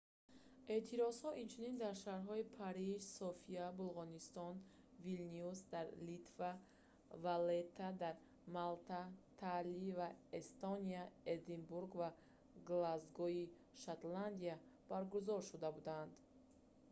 эътирозҳо инчунин дар шаҳрҳои париж софияи булғористон вилнюс дар литва валлетта дар малта таллин дар эстония эдинбург ва глазгои шотландия баргузор шуда буданд